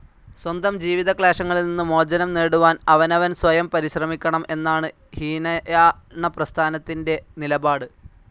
സ്വന്തം ജീവിതക്ലേശങ്ങളിൽ നിന്നു മോചനം നേടുവാൻ അവനവൻ സ്വയം പരിശ്രമിക്കണം എന്നാണ് ഹീനയാണപ്രസ്ഥാനത്തിൻ്റെ നിലപാട്.